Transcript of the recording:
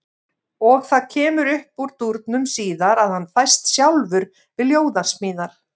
Og það kemur upp úr dúrnum síðar að hann fæst sjálfur við ljóðasmíðar.